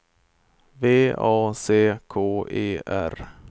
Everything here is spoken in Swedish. V A C K E R